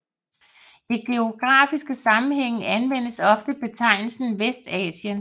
I geografiske sammenhænge anvendes ofte betegnelsen Vestasien